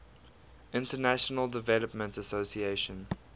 international development association